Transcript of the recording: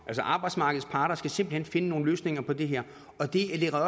arbejdsmarkedets parter skal simpelt hen finde nogle løsninger på det her